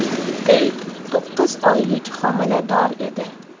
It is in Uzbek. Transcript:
Teyt to‘qqiz oylik homilador edi.